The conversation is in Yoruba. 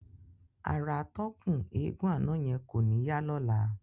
Ara atọ́kùn eégún àná yẹn kò ní yá lọ́la.